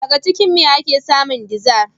Daga jikin me ake samun dizar?